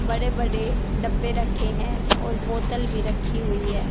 बड़े-बड़े डब्बे रखे हैं और बोतल भी रखी हुई हैं।